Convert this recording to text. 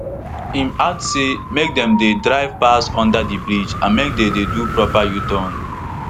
im add say make dem dey drive pass under di bridge and make dem dey do proper uturn